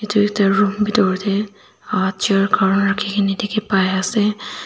edu ekta room bitor tae chair khan rakhikae na dikhipaiase.